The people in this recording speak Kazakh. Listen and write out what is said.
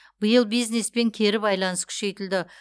биыл бизнеспен кері байланыс күшейтілді